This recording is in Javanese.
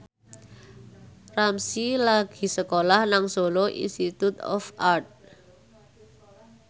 Ramzy lagi sekolah nang Solo Institute of Art